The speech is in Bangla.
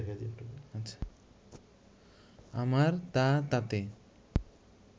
আমার তা তাতে